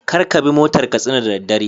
Karkabi motar katsina da daddare